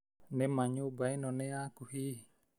Nĩ ma nyũmba ĩno nĩ yaku hihi?